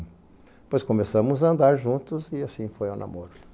Depois começamos a andar juntos, e assim foi o namoro.